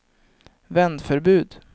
vändförbud